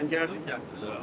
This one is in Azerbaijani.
Xankəndliyəm.